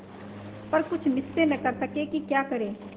पर कुछ निश्चय न कर सके कि क्या करें